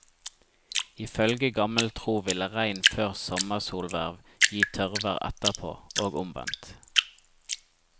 Ifølge gammel tro ville regn før sommersolhverv gi tørrvær etterpå, og omvendt.